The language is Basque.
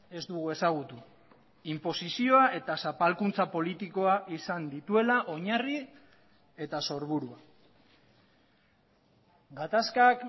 ez dugu ezagutu inposizioa eta zapalkuntza politikoa izan dituela oinarri eta sorburua gatazkak